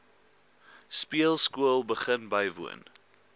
speelskool begin bywoon